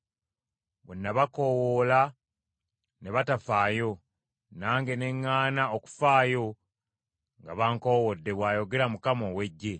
“ ‘Bwe nabakoowoola ne batafaayo, nange ne ŋŋaana okufaayo nga bankowodde,’ bw’ayogera Mukama ow’Eggye.